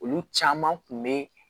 Olu caman kun be